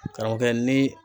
Karamɔgɔkɛ ni